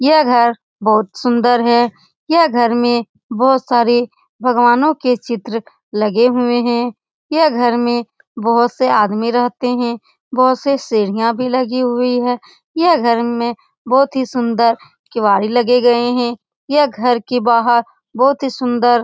ये घर बहुत सुंदर है यह घर में बहुत सारे भगवानों के चित्र लगे हुए हैं ये घर में बहुत से आदमी रहते हैं बहुत से सीढियां भी लगी हुई है ये घर में बहुत ही सुंदर केवारी लगे गए हैं ये घर के बाहर बहुत ही सुंदर --